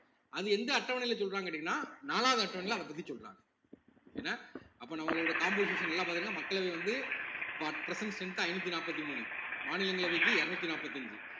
அது எந்த அட்டவணையில சொல்றாங்கன்னு கேட்டீங்கன்னா நாலாவது அட்டவணையில அதப் பத்தி சொல்றாங்க என்ன அப்ப நம்மளோட composition எல்லாம் பார்த்தீங்கன்னா மக்களவை வந்து இப்ப at present strength ஆ ஐந்நூத்தி நாப்பத்தி மூணு மாநிலங்களவைக்கு இருநூத்தி நாப்பத்தஞ்சு